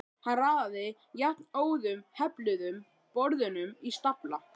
Hann raðaði jafnóðum hefluðum borðunum í stafla.